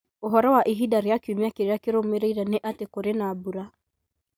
Ũhoro wa ihinda rĩa kiumia kĩrĩa kĩrũmĩrĩire nĩ atĩ kũrĩ na mbura.